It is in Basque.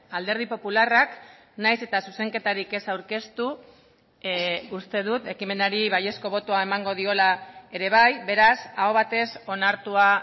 alderdi popularrak nahiz eta zuzenketarik ez aurkeztu uste dut ekimenari baiezko botoa emango diola ere bai beraz aho batez onartua